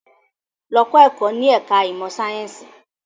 Lọ kẹ́kọ̀ọ́ ní ẹ̀ka ìmọ̀ sáyẹ́ǹsì!